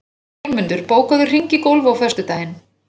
Jómundur, bókaðu hring í golf á föstudaginn.